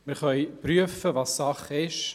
Wir können prüfen, was Sache ist.